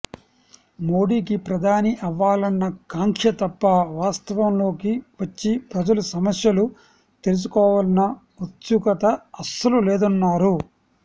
మోడీకి ప్రధాని అవ్వాలన్న కాంక్ష తప్ప వాస్తవంలోకి వచ్చి ప్రజల సమస్యలు తెలుసుకోవాలన్న ఉత్సుకత అస్సలు లేదన్నారు